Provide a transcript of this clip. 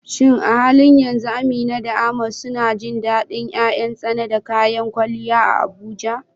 Shin a halin yanzu Amina da Ahmad suna jin dadin ’yan ’yan tsana da kayan kwalliya a Abuja?